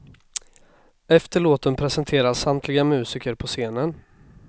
Efter låten presenteras samtliga musiker på scenen.